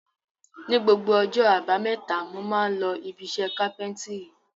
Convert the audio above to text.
Ni gbogbo ọjọ́ àbámẹ́ta mo máa ń lọ ibiṣẹ́ kápẹ́ńtírì.